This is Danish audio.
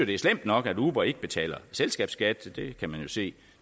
det er slemt nok at uber ikke betaler selskabsskat det kan man jo se